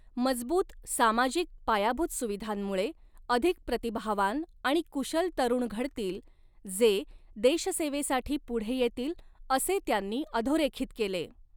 मजबूत सामाजिक पायाभूत सुविधांमुळे अधिक प्रतिभावान आणि कुशल तरुण घडतील जे देशसेवेसाठी पुढे येतील, असे त्यांनी अधोरेखित केले.